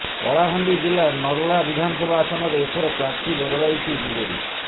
କଳାହାଣ୍ଡି ଜିଲ୍ଲା ନର୍ଲା ବିଧାନସଭା ଆସନରେ ଏଥର ପ୍ରାର୍ଥୀ ବଦଳାଇଛି ବିଜେଡି